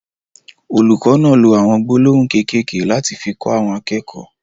Olùkọ náà ló awọn gbólóhùn kékèké lati fi kọ àwọn akẹ́kọ̀ọ́.